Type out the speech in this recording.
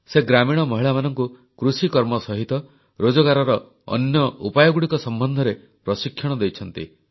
ସେ ଗ୍ରାମୀଣ ମହିଳାମାନଙ୍କୁ କୃଷିକର୍ମ ସହିତ ରୋଜଗାରର ଅନ୍ୟ ଉପାୟଗୁଡ଼ିକ ସମ୍ବନ୍ଧରେ ପ୍ରଶିକ୍ଷଣ ଦେଇଛନ୍ତି